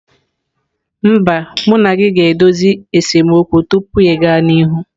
Mba, anyị ga-edozi esemokwu tupu ịga n'ihu.